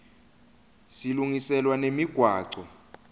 silungiselwa nemigwaco